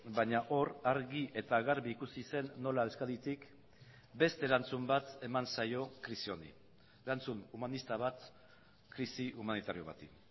baina hor argi eta garbi ikusi zen nola euskaditik beste erantzun bat eman zaio krisi honi erantzun humanista bat krisi humanitario bati